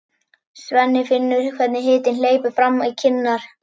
Svenni finnur hvernig hitinn hleypur fram í kinnar.